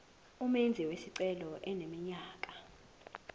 umenzi wesicelo eneminyaka